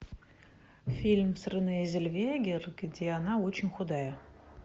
фильм с рене зеллвегер где она очень худая